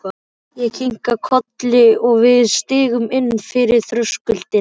Ég kinkaði kolli og við stigum inn fyrir þröskuldinn.